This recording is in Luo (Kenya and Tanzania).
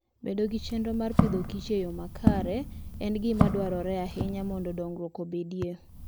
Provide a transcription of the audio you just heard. Bedo gi chenro mar Agriculture and Foode yo makare en gima dwarore ahinya mondo dongruok obedie.